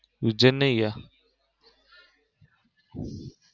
ઉજ્જૈન નઈ ગયા?